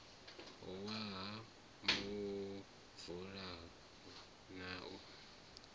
wa ha muvula na u